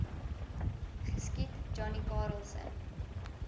geskiet johnny karelse